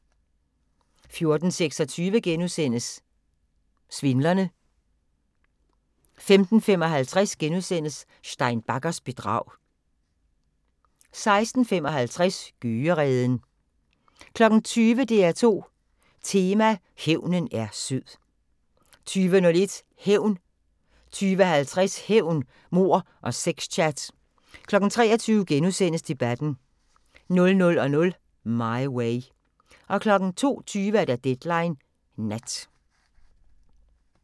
14:26: Svindlerne * 15:55: Stein Baggers bedrag * 16:55: Gøgereden 20:00: DR2 Tema: Hævnen er sød 20:01: Hævn 20:50: Hævn, mord og sex-chat 23:00: Debatten * 00:00: My Way 02:20: Deadline Nat